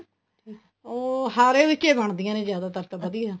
ਉਹ ਹਾਰੇ ਵਿੱਚ ਹੀ ਬਣਦੀਆਂ ਨੇ ਜਿਆਦਾ ਤਰ ਤਾਂ ਵਧੀਆ